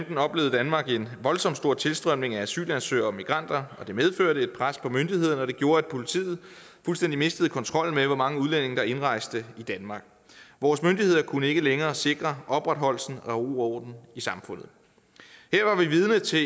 danmark en voldsomt stor tilstrømning af asylansøgere og migranter det medførte et pres på myndighederne og det gjorde at politiet fuldstændig mistede kontrollen med hvor mange udlændinge der indrejste i danmark vores myndigheder kunne ikke længere sikre opretholdelsen af ro og i samfundet her var vi vidne til